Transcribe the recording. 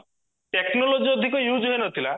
technology ଅଧିକ use ହେଇନଥିଲା